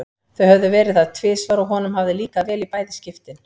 Þau höfðu verið þar tvisvar og honum hafði líkað vel í bæði skiptin.